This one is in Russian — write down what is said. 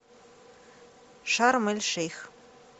шарм эль шейх